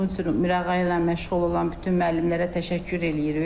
Bunun üçün Mirağayla məşğul olan bütün müəllimlərə təşəkkür eləyirik.